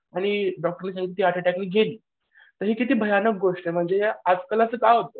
आणि डॉक्टरने सांगितले ती हर्ट अटॅकने गेली. तर ही किती भयानक गोष्ट आहे. तर या आजकाल असं का होतं?